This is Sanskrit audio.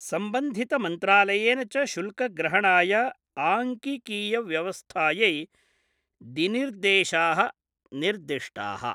संबन्धितमन्त्रालयेन च शुल्कग्रहणाय आंकिकीय व्यवस्थायै दिनिर्देशा: निर्दिष्टा:।